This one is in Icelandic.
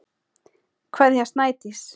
Kveðja, Snædís.